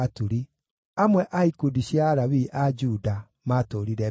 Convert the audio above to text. Amwe a ikundi cia Alawii a Juda maatũũrire Benjamini.